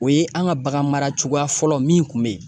O ye an ka bagan mara cogoya fɔlɔ min kun bɛ yen.